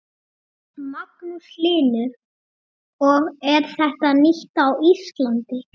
Magnús Hlynur: Og er þetta nýtt á Íslandi?